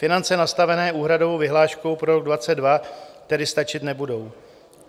Finance nastavené úhradovou vyhláškou pro rok 2022 tedy stačit nebudou.